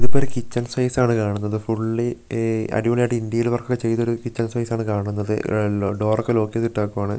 ഇതിപ്പോ ഒരു kitchen space ആണ് കാണുന്നത് ഫുള്ളി ഈ അടിപൊളിയായിട്ട് ഇന്റീരിയർ വർക്കൊക്കെ ചെയ്തൊരു കിച്ചൻ സ്പേസ് ആണ് കാണുന്നത് എ ട് ഡോറൊക്കെ ലോക്ക് ചെയ്തിട്ടേക്കുവാണ്.